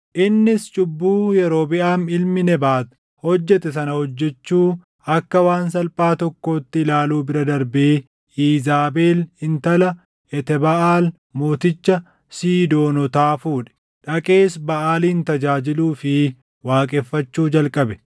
Innis cubbuu Yerobiʼaam ilmi Nebaat hojjete sana hojjechuu akka waan salphaa tokkootti ilaaluu bira darbee Iizaabel intala Etebaʼaal mooticha Siidoonotaa fuudhe; dhaqees Baʼaalin tajaajiluu fi waaqeffachuu jalqabe.